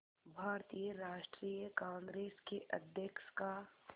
भारतीय राष्ट्रीय कांग्रेस के अध्यक्ष का